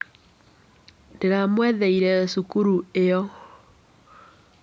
Ndĩramwetheire cukuru ĩo.